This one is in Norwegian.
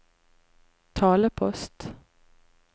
talepost